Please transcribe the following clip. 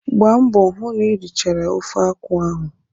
Gbaa mbọ hụ na irichara ofe akwụ ahụ!